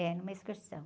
É, numa excursão.